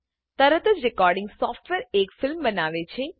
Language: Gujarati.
તરત જ રેકોર્ડીંગ સોફ્ટવેર એક ફિલ્મ બનાવે છે